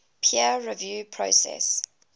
peer review process